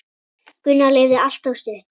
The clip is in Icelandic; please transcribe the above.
Gunnar lifði allt of stutt.